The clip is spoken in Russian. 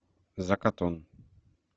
закатун